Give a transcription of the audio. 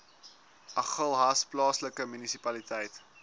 agulhas plaaslike munisipaliteit